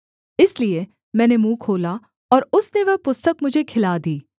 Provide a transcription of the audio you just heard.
इसलिए मैंने मुँह खोला और उसने वह पुस्तक मुझे खिला दी